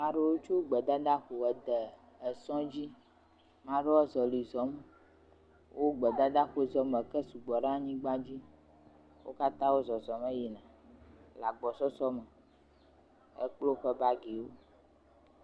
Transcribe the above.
..ɖo tso gbedada ƒo ede esɔ̃ dzi, ma ɖo woa zɔlɛ̃ zɔm, wo gbedada ƒo zɔm, eke su gbɔ ɖe nyigba dzi, wo katã wo zɔzɔm eyina le agbɔsɔsɔ me, ekplo woƒe bagiwo.